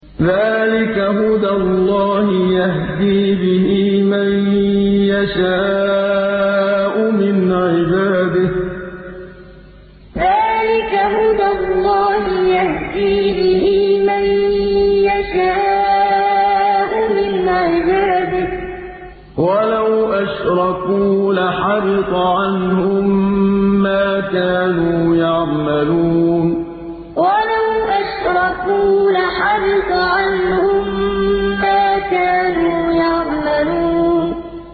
ذَٰلِكَ هُدَى اللَّهِ يَهْدِي بِهِ مَن يَشَاءُ مِنْ عِبَادِهِ ۚ وَلَوْ أَشْرَكُوا لَحَبِطَ عَنْهُم مَّا كَانُوا يَعْمَلُونَ ذَٰلِكَ هُدَى اللَّهِ يَهْدِي بِهِ مَن يَشَاءُ مِنْ عِبَادِهِ ۚ وَلَوْ أَشْرَكُوا لَحَبِطَ عَنْهُم مَّا كَانُوا يَعْمَلُونَ